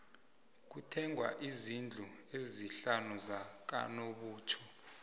kuthengwe izndlu ezisihlanu zakanobutjho